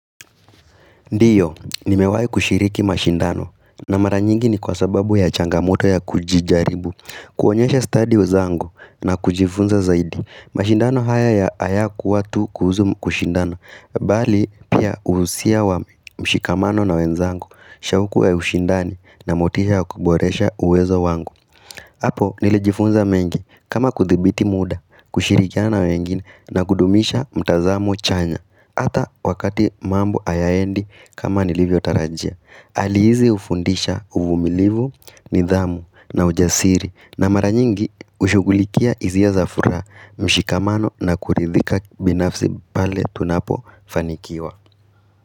Ndio, nimewahi kushiriki mashindano na mara nyingi ni kwa sababu ya changamoto ya kujijaribu kuonyesha stadi zangu na kujifunza zaidi mashindano haya ya hayakuwa tu kuhusu kushindano Bali pia uhusia wa mshikamano na wenzangu, shawuku ya ushindani na motisha kuboresha uwezo wangu Hapo nilijifunza mengi kama kuthibiti muda, kushirikiana na wengine na kudumisha mtazamo chanya Hata wakati mambo hayaendi kama nilivyo tarajia hali hizi ufundisha uvumilivu, nidhamu na ujasiri na mara nyingi ushughulikia hisia za furaha mshikamano na kuridhika binafsi pale tunapo fanikiwa.